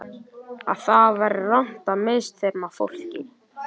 Að það væri rangt að misþyrma fólki.